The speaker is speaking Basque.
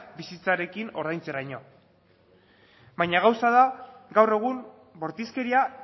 bizitzarekin ordaintzeraino baina gauza da gaur egun bortizkeria